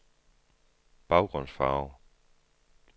baggrundsfarve